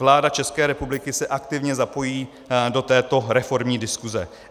Vláda České republiky se aktivně zapojí do této reformní diskuze.